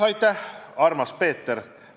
Aitäh, armas Peeter!